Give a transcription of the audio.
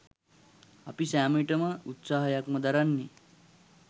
අපි සෑම විටම උත්සාහයක්ම දරන්නේ